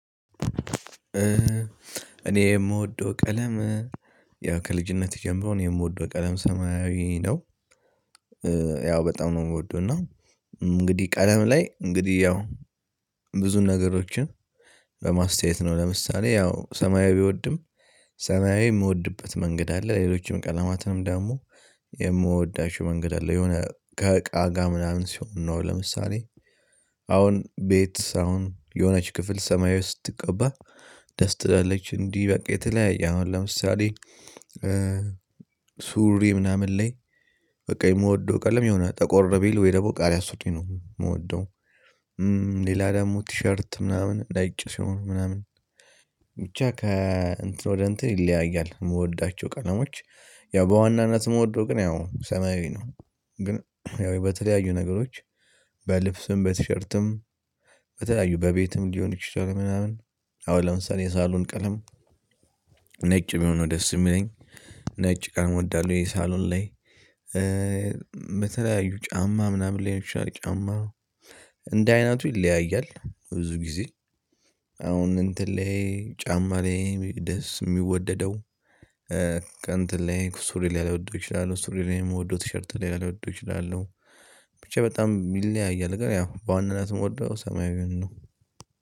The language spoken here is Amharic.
እኔ የምወደው ቀለም ያው ከልጅነቴ ጀምሮ እኔ የምወደው ቀለም ሰማያዊ ነው። ያው በጣም ነው የምወደው እና እንግዲህ ቀለም ላይ እንግዲህ ያው ብዙ ነገሮችን በማስተያየት ነው ለምሳሌ ያው ሰማያዊ ብወድም ሰማያዊ የምወድበት መንገድ አለ ሌሎችም ቀለማትንም ደግሞ የምወዳቸው መንገድ አለ። የሆነ ከእቃ ጋ ምናምን ሲሆን ነው ለምሳሌ። አሁን ቤት አሁን የሆነች ክፍል ሰማያዊ ስትቀባ ደስ ትላለች። እንዲህ በቃ የተለያየ አሁን ለምሳሌ ሱሪ ምናምን ላይ በቃ የምወደው ቀለም የሆነ ጠቆር ቢል ወይ ደግሞ ቃሪያ ሱሪ ነው የምወደው። ሌላ ደግሞ ቲሸርት ምናምን ነጭ ሲሆን ምናምን ብቻ ከ እንትን ወደ እንትን ይለያያል። የምወዳቸው ቀለሞች ያው በዋናነት የምወደው ግን ያው ሰማያዊ ነው። ግን ያው በተለያዩ ነገሮች በልብስም በቲሸርትም በተለያዩ በቤትም ሊሆን ይችላል ምናምን አሁን ለምሳሌ የሳሎን ቀለም ነጭ ቢሆን ነው ደስ የሚለኝ ነጭ ቀለም እወዳለሁ። የሳሎን ላይ። በተለያዩ ጫማ ምናምን ላይ ሊሆን ይችላል ጫማ እንደ አይነቱ ይለያያል ብዙ ጊዜ አሁን እንትን ላይ ጫማ ላይ ደስ የሚወደደው። ከእትን ላይክ ሱሪ ላይ ሊወደው እችላለሁ ሱሪ ላይ የምወደው ቲሸርት ሌላ ሊወደው ይችላል። ብቻ በጣም ይለያያል ግን ያው በዋናነት የምወደው ሰማያዊን ነው።